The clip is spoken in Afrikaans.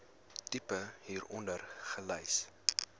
tipe hieronder gelys